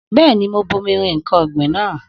Bẹ́ẹ̀ni, mo bomi rin ǹkan ọ̀gbìn náà.